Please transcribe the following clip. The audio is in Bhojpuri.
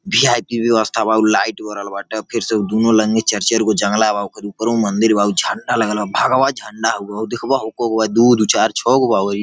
वीआईपी ब्यवस्था बा। ऊ लाइट बरल बाटे। फिर से ऊ दूनो लँगे चर चर गो जंगला बा। ओकरे ऊपरो मंदिर बा। उ झंडा लगल बा भगवा झंडा हवे हऊ देखब कगो दू दू चार छो गो बा इ ।